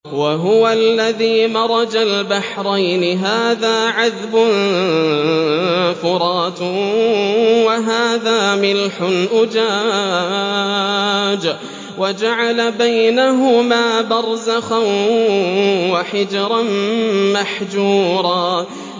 ۞ وَهُوَ الَّذِي مَرَجَ الْبَحْرَيْنِ هَٰذَا عَذْبٌ فُرَاتٌ وَهَٰذَا مِلْحٌ أُجَاجٌ وَجَعَلَ بَيْنَهُمَا بَرْزَخًا وَحِجْرًا مَّحْجُورًا